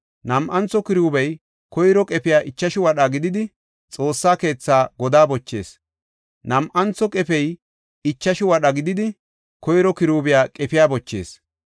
Nam7antho kiruubiya koyro qefey ichashu wadha gididi, Xoossa keetha godaa bochees; nam7antho qefey ichashu wadha gididi, koyro kiruubiya qefiya bochees.